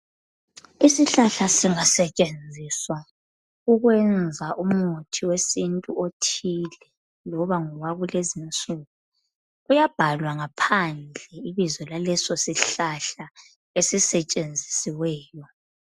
Isihlahla singasetshenziwa ukwenza umuthi wesintu othile loba ngowakulezinsuku, uyabhalwa ngaphandle ibizo laleso sihlahla esisetshenzisiweyo.